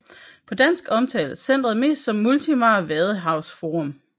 På dansk omtales centret mest som Multimar Vadehavsforum